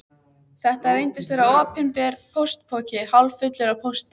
Þetta reyndist vera opinber póstpoki hálffullur af pósti.